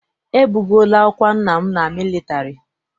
E bugoola ọkwa nna m na mịlịtarị..